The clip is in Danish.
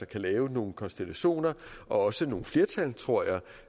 kan lave nogle konstellationer og også nogle flertal tror jeg